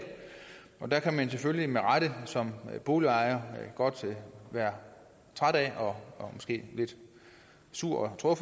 der kan man selvfølgelig med rette som boligejer godt være træt af og måske lidt sur og